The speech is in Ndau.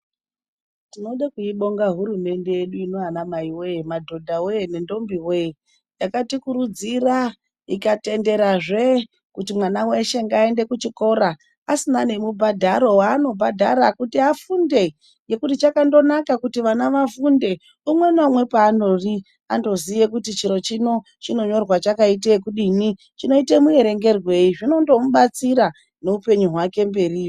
Tinode kuibonga hurumende yedu inoyi madhodha wee!anamai wee! Nendombi ,yakatikurudzira ,ikatenderazve kuti ana eshe aende kuchikora asina nemubhadharo waisa kuti afunde .Zvakandonaka kuti umwe ngaumwe paari akone kuerenga nekunyora zvinondomubatsira kweshe kwaanenge ari.